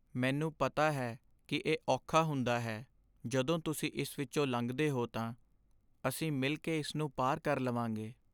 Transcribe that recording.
ਮੈਨੂੰ ਪਤਾ ਹੈ ਕਿ ਇਹ ਔਖਾ ਹੁੰਦਾ ਹੈ ਜਦੋਂ ਤੁਸੀਂ ਇਸ ਵਿੱਚੋਂ ਲੰਘਦੇ ਹੋ ਤਾਂ! ਅਸੀਂ ਮਿਲ ਕੇ ਇਸ ਨੂੰ ਪਾਰ ਕਰ ਲਵਾਂਗੇ।